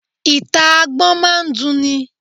Ìta Agbọ́n máa ń dun ni.